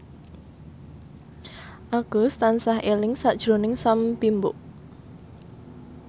Agus tansah eling sakjroning Sam Bimbo